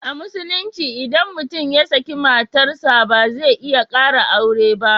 A Musulunci idan mutum ya saki matar sa ba zai iya kara aure ba.